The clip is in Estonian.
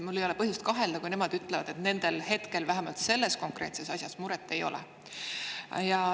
Mul ei ole põhjust kahelda, kui nemad ütlevad, et nendel hetkel, vähemalt selles konkreetses asjas, muret ei ole.